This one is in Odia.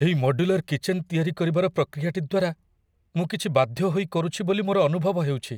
ଏଇ ମଡ୍ୟୁଲାର କିଚେନ ତିଆରି କରିବାର ପ୍ରକ୍ରିୟାଟି ଦ୍ୱାରା ମୁଁ କିଛି ବାଧ୍ୟ ହୋଇ କରୁଛି ବୋଲି ମୋର ଅନୁଭବ ହେଉଛି।